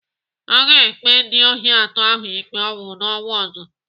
Aga ekpe ndị ohi atọ ahụ ikpe ọnwụ n'ọnwa ọzọ.